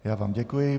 Já vám děkuji.